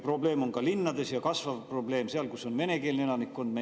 Probleem on ka linnades ja kasvav probleem on see seal, kus on venekeelne elanikkond.